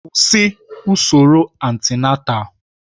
Kwụsị usoro antịnátál!